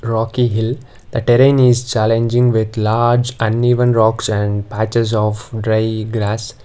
rocky hill a terrain is challenging with large uneven rocks and patches of dry grass.